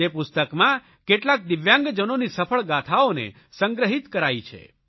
તે પુસ્તકમાં કેટલાક દિવ્યાંગજનોની સફળ ગાથાઓને સંગ્રહિત કરાઇ છે